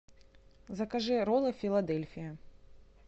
закажи роллы филадельфия